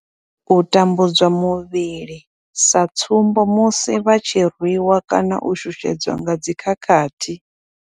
U tambudzwa muvhili sa tsumbo, musi vha tshi rwiwa kana u shushedzwa nga dzi khakhathi.